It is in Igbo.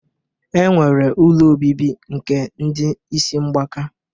E nwere ụlọ obibi nke ndị isi mgbaka.